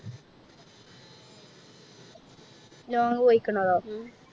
Long പോയിക്കണതോ